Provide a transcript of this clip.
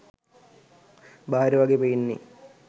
බාහිර වගේ පේන්නේ